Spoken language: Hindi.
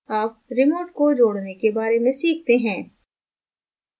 add remote को जोड़ने के बारे में सीखते हैं